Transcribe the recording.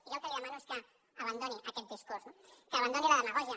jo el que li demano és que abandoni aquest discurs no que abandoni la demagògia